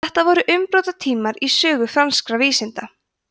þetta voru umbrotatímar í sögu franskra vísinda